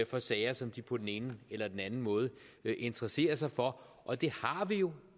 for sager som de på den ene eller den anden måde interesserer sig for og det har vi jo